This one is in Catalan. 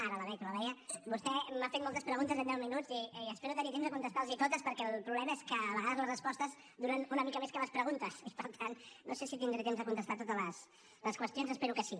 ara la veig no la veia vostè m’ha fet moltes preguntes en deu minuts i espero tenir temps de contestar les hi totes perquè el problema és que a vegades les respostes duren una mica més que les preguntes i per tant no sé si tindré temps de contestar totes les qüestions espero que sí